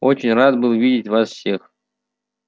очень рад был видеть вас всех